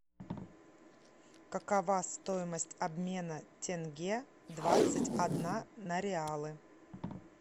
какова стоимость обмена тенге двадцать одна на реалы